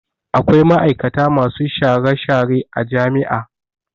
Akwai ma'aikata masu share-share a jami'a.